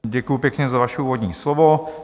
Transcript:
Děkuji pěkně za vaše úvodní slovo.